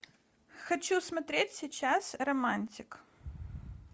хочу смотреть сейчас романтик